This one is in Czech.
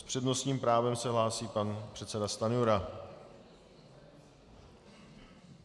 S přednostním právem se hlásí pan předseda Stanjura.